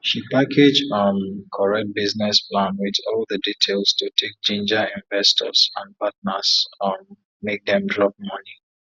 she package um correct business plan with all the details to take ginger investors and partners um make dem drop money